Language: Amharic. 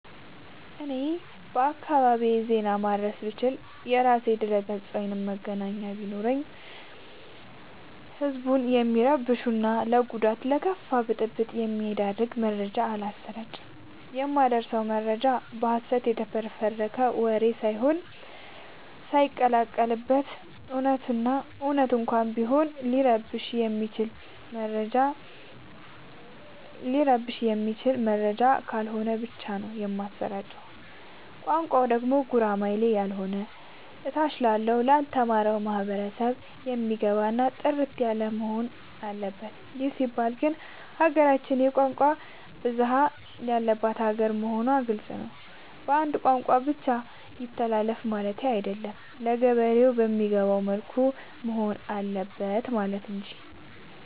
እኔ በአካባቢዬ ዜና ማድረስ ብችል። የራሴ ድረገፅ ወይም መገናኛ ተቋም ቢኖረኝ ህዝብን የሚረብሹ እና ለጉዳት እና ለከፋ ብጥብ የሚዳርግ መረጃ አላሰራጭም። የማደርሰው መረጃ በሀሰት የተፈበረከ ወሬ ሳይቀላቀል በት እውነቱን እና እውነት እንኳን ቢሆን ሊረብሸው የማይችል መረጃ ነው ከሆነ ብቻ ነው የማሰራጨው። ቋንቋው ደግሞ ጉራማይሌ ያሎነ ታች ላለው ላልተማረው ማህበረሰብ የሚገባ እና ጥርት ያለወሆን አለበት ይህ ሲባል ግን ሀገራችን የቋንቋ ብዙሀለት ያለባት ሀገር መሆኗ ግልፅ ነው። በአንድ ቋንቋ ብቻ ይተላለፍ ማለቴ አይደለም ለገበሬ በሚገባው መልኩ መሆን አለበት ማለት እንጂ።